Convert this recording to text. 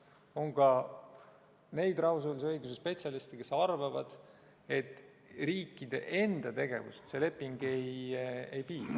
On ka neid rahvusvahelise õiguse spetsialiste, kes arvavad, et riikide enda tegevust see leping ei piira.